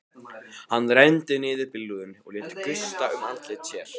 Hann renndi niður bílrúðunni og lét gusta um andlit sér.